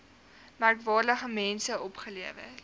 merkwaardige mense opgelewer